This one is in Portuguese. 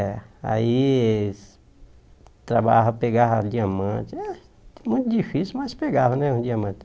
É, aí eles trabalhavam, pegavam diamante, ah muito difícil, mas pegavam, né, os diamantes.